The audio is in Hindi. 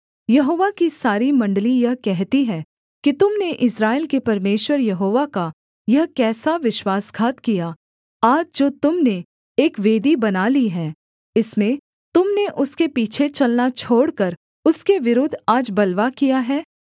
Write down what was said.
यहोवा की सारी मण्डली यह कहती है कि तुम ने इस्राएल के परमेश्वर यहोवा का यह कैसा विश्वासघात किया आज जो तुम ने एक वेदी बना ली है इसमें तुम ने उसके पीछे चलना छोड़कर उसके विरुद्ध आज बलवा किया है